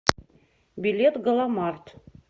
билет галамарт